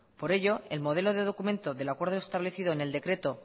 por ello el modelo de documento del acuerdo establecido en el decreto